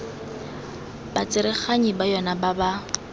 batsereganyi ba yona ba ba